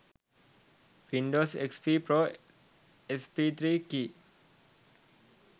windows xp pro sp3 key